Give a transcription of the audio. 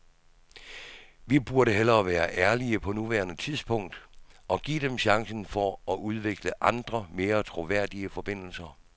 Vi burde hellere være ærlige på nuværende tidspunkt og give dem chancen for at udvikle andre, mere troværdige forbindelser.